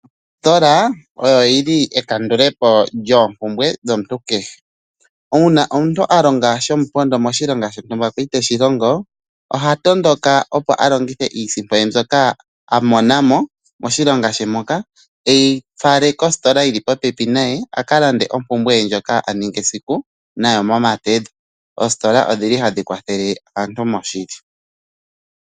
Oositola oyo yili e ka ndule po lyoompumbwe dhomuntu kehe. Uuna omuntu a longa shomupondo moshilonga shontumba kwali teshi longo ,oha tondoka opo a longithe iisimpo ye mbyoka a mona mo moshilonga she moka, eyi fale kositola yili popepi naye a ka lande ompumbwe ye ndjoka a ningi esiku nayo momadhedho . Oositola odhili tadhi wa thele aantu mo shili .